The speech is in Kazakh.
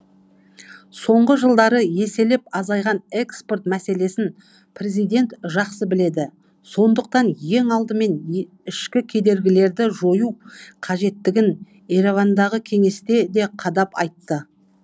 соңғы жылдары еселеп азайған экспорт мәселесін президент жақсы біледі сондықтан ең алдымен ішкі кедергілерді жою қажеттігін еревандағы кеңесте де қадап айтты